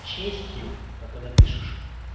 честью так и напишешь